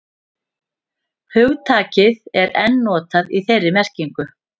Hugtakið er enn notað í þeirri merkingu.